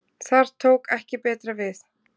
Þar tók ekki betra við.